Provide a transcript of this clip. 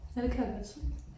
Ja det kan jeg godt se